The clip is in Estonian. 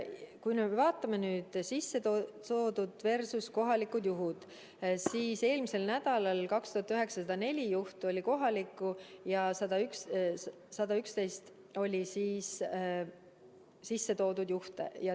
Kui me vaatame nüüd bilanssi sisse toodud versus kohalikud juhud, siis eelmisel nädalal 2904 juhtu olid kohalikud ja 111 olid sisse toodud juhud.